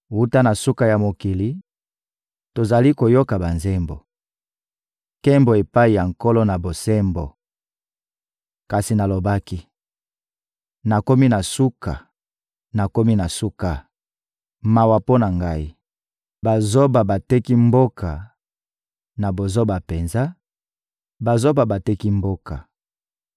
Wuta na suka ya mokili, tozali koyoka banzembo: «Nkembo epai ya Nkolo-Na-Bosembo.» Kasi nalobaki: «Nakomi na suka, nakomi na suka! Mawa mpo na ngai! Bazoba bateki mboka, na bozoba penza, bazoba bateki mboka!»